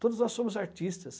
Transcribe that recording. Todos nós somos artistas.